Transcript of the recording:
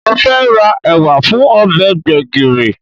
Mo fẹ́ ra ẹ̀wà fún ọbẹ̀ gbẹ̀gìrì